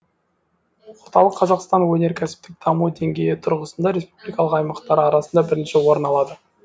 орталық қазақстан өнеркәсіптік даму деңгейі тұрғысында республика аймақтары арасында бірінші орын алады